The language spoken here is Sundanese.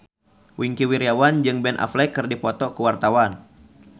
Wingky Wiryawan jeung Ben Affleck keur dipoto ku wartawan